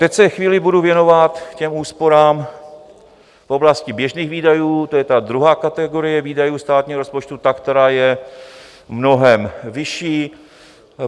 Teď se chvíli budu věnovat těm úsporám v oblasti běžných výdajů, to je ta druhá kategorie výdajů státního rozpočtu, ta, která je mnohem vyšší.